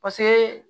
Paseke